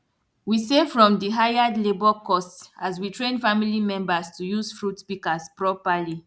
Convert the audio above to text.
we save from di hired labour costs as we train family members to use fruit pikas properly